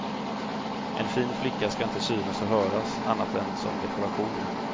En fin flicka ska inte synas och höras, annat än som dekoration.